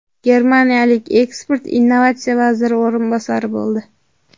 Germaniyalik ekspert innovatsiya vaziri o‘rinbosari bo‘ldi.